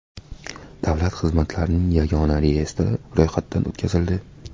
Davlat xizmatlarining yagona reyestri ro‘yxatdan o‘tkazildi.